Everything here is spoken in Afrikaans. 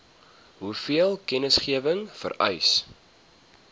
hoeveel kennisgewing vereis